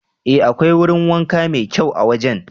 Ee, akwai wurin wanka mai kyau a wajen.